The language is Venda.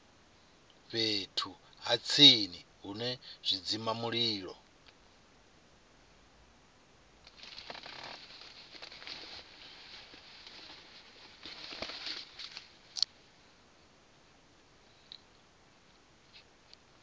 fhethu ha tsini hune zwidzimamulilo